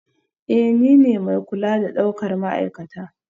Ee, nine mai kula da daukar ma'aikata